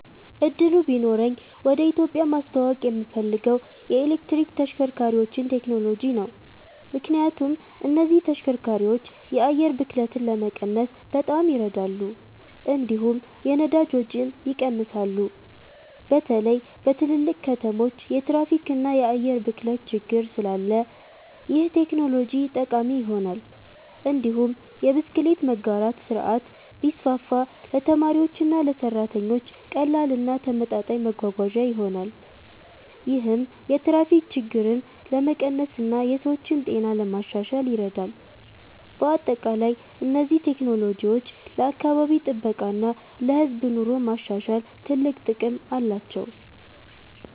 እድሉ ቢኖረኝ ወደ ኢትዮጵያ ማስተዋወቅ የምፈልገው የኤሌክትሪክ ተሽከርካሪዎችን ቴክኖሎጂ ነው። ምክንያቱም እነዚህ ተሽከርካሪዎች የአየር ብክለትን ለመቀነስ በጣም ይረዳሉ፣ እንዲሁም የነዳጅ ወጪን ይቀንሳሉ። በተለይ በትልልቅ ከተሞች የትራፊክ እና የአየር ብክለት ችግር ስላለ ይህ ቴክኖሎጂ ጠቃሚ ይሆናል። እንዲሁም የብስክሌት መጋራት ስርዓት ቢስፋፋ ለተማሪዎችና ለሰራተኞች ቀላል እና ተመጣጣኝ መጓጓዣ ይሆናል። ይህም የትራፊክ ችግርን ለመቀነስ እና የሰዎችን ጤና ለማሻሻል ይረዳል። በአጠቃላይ እነዚህ ቴክኖሎጂዎች ለአካባቢ ጥበቃ እና ለህዝብ ኑሮ ማሻሻል ትልቅ ጥቅም አላቸው።